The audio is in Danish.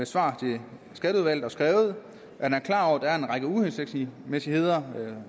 svar til skatteudvalget og skrevet at han er klar over at der er en række uhensigtsmæssigheder der